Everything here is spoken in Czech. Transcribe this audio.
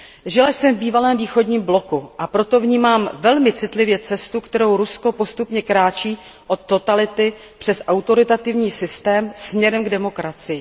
Žila jsem v bývalém východním bloku, a proto vnímám velmi citlivě cestu, kterou Rusko postupně kráčí od totality přes autoritativní systém směrem k demokracii.